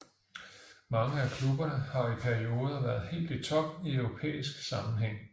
Mange af klubberne har i perioder været helt i top i europæisk sammenhæng